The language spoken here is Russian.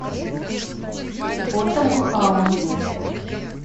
фото махаон